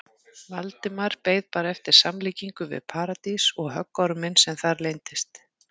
Valdimar beið bara eftir samlíkingu við Paradís og höggorminn sem þar leyndist.